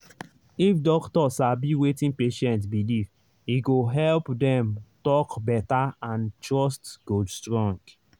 if doctor sabi wetin patient believe e go help dem talk better and trust go strong.